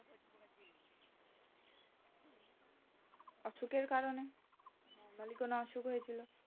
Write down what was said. অসুখ এর কারণে বড়ো কোনো অসুখ হয়ে ছিল